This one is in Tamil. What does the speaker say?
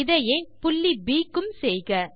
இதையே புள்ளி ப் க்கும் செய்க